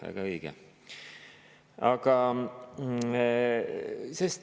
Väga õige!